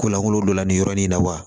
Ko lankolon don nin yɔrɔ nin na wa